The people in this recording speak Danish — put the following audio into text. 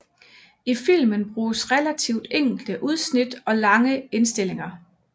I filmen bruges relativt enkle udsnit og lange indstillinger